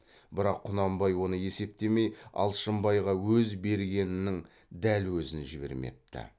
бірақ құнанбай оны есептемей алшынбайға өз бергенінің дәл өзін жібермепті